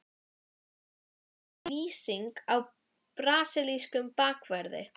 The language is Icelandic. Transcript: Hljómar það eins og lýsing á brasilískum bakverði?